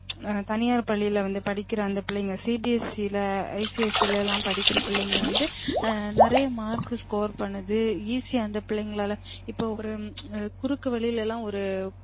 தனியார் பள்ளில வந்து படிக்குற அந்த பிள்ளைங்க CBSE ல ICIC ல லாம் படிக்குற பிள்ளைங்க வந்து நிறையா mark score பண்ணுது easy அ அந்த பிள்ளைங்களால இப்ப ஒரு குறுக்கு வழிலலாம் ஒரு